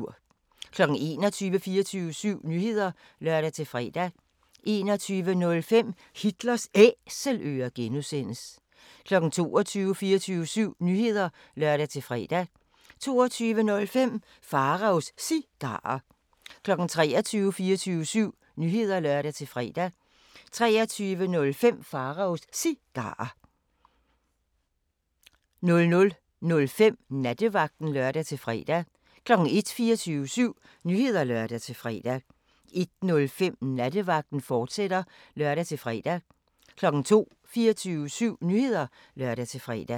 21:00: 24syv Nyheder (lør-fre) 21:05: Hitlers Æselører (G) 22:00: 24syv Nyheder (lør-fre) 22:05: Pharaos Cigarer 23:00: 24syv Nyheder (lør-fre) 23:05: Pharaos Cigarer 00:05: Nattevagten (lør-fre) 01:00: 24syv Nyheder (lør-fre) 01:05: Nattevagten, fortsat (lør-fre) 02:00: 24syv Nyheder (lør-fre)